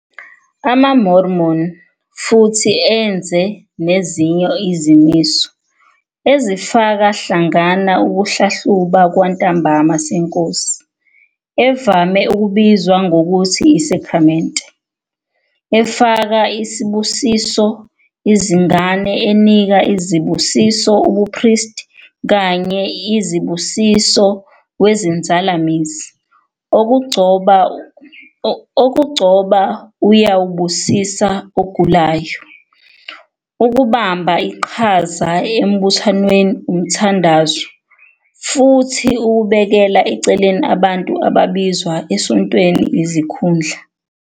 AmaMormon futhi enze nezinye izimiso, ezifaka hlangana ukuhlahluba kwantambama SeNkosi, evame ukubizwa ngokuthi isakramente, efaka i nesibusiso izingane, enika izibusiso ubupristi kanye izibusiso wezinzalamizi, okugcoba uyawubusisa ogulayo, ukubamba iqhaza emibuthanweni umthandazo, futhi ukubekela eceleni abantu ababizwa esontweni izikhundla.